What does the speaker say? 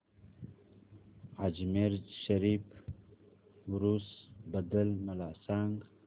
अजमेर शरीफ उरूस बद्दल मला सांग